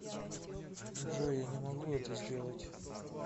джой я не могу это сделать